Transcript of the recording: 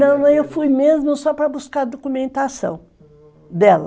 Não, eu fui mesmo só para buscar a documentação, hum, dela.